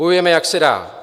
Bojujeme, jak se dá.